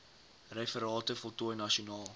referate voltooi nasionaal